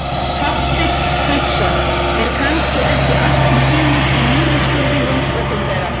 Hafsteinn Hauksson: Er kannski ekki allt sem sýnist í niðurskurði hins opinbera?